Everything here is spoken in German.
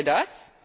Wollen wir das?